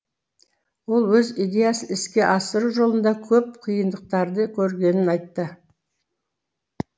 ол өз идеясын іске асыру жолында көп қиындықтарды көргенін айтты